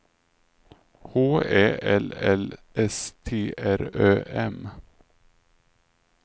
H Ä L L S T R Ö M